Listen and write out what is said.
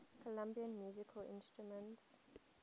colombian musical instruments